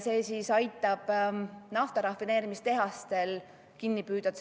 See aitab naftarafineerimistehastel CO2 kinni püüda